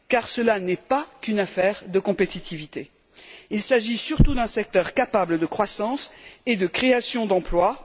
Cela n'est pas qu'une affaire de compétitivité il s'agit surtout d'un secteur présentant un potentiel de croissance et de création d'emplois.